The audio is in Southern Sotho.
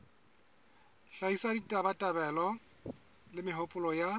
hlahisa ditabatabelo le mehopolo ya